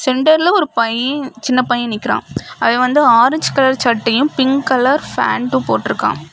சென்டர்ல ஒரு பையன் சின்ன பையன் நிக்கிறான் அது வந்து ஆரஞ்சு கலர் சட்டையும் பிங்க் கலர் பேண்ட் போட்டு இருக்கான்.